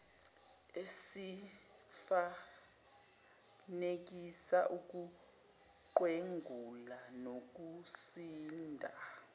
esifanekisa ukuqwenguka nokusinda